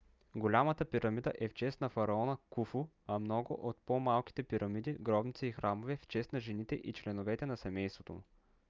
голямата пирамида е в чест на фараона куфу а много от по - малките пирамиди гробници и храмове - в чест на жените и членовете на семейството му